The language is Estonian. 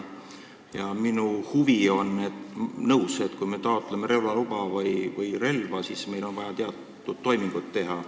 Ma olen nõus, et kui me taotleme relvaluba või relva, siis on vaja teatud toimingud teha.